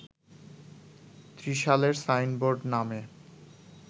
ত্রিশালের signboard নামে